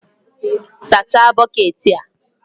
Sachaa bukeeti a!